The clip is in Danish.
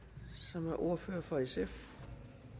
som ordfører for sf